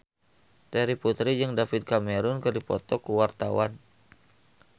Terry Putri jeung David Cameron keur dipoto ku wartawan